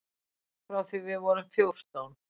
Frá því við vorum fjórtán.